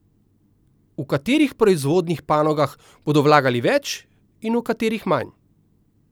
V katerih proizvodnih panogah bodo vlagali več in v katerih manj?